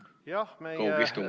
Kaugistung, aga ...